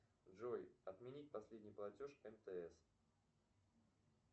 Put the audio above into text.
джой отменить последний платеж мтс